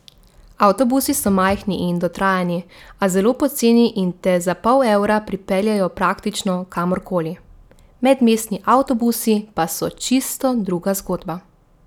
Avtobusi so majhni in dotrajani, a zelo poceni in te za pol evra pripeljalo praktično kamor koli: 'Medmestni avtobusi pa so čisto druga zgodba.